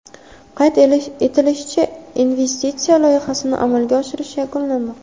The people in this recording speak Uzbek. Qayd etilishicha, investitsiya loyihasini amalga oshirish yakunlanmoqda.